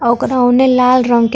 अ ओकरा ओने लाला रंग के --